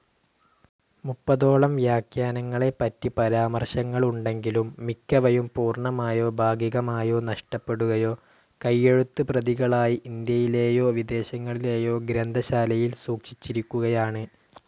മുപ്പതോളം വ്യാഖ്യാനങ്ങളെപറ്റി പരാമർശങ്ങളുണ്ടെങ്കിലും, മിക്കവയും പൂർണമായോ ഭാഗികമായോ നഷ്ടപ്പെടുകയോ കൈയെഴുത്ത്പ്രതികളായി ഇന്ത്യയിലേയോ വിദേശങ്ങളിലേയോ ഗ്രന്ഥശാലയിൽ സൂക്ഷിച്ചിരിക്കുകയാണ്.